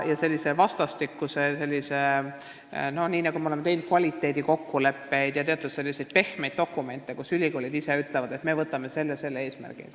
Me oleme teinud selliseid vastastikuseid kvaliteedikokkuleppeid ja n-ö pehmeid dokumente, kus ülikoolid ise ütlevad, et me võtame selle või teise eesmärgi.